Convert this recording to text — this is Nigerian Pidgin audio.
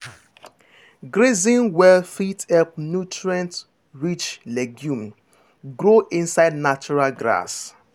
grazing well fit help nutrient-rich legume grow inside natural grass.